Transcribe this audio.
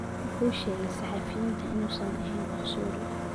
Wuxuu u sheegay saxafiyiinta inuusan ahayn cunsuri.